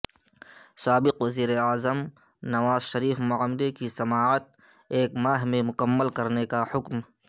سابق وزیر اعظم نواز شریف معاملے کی سماعت ایک ماہ میں مکمل کرنے کا حکم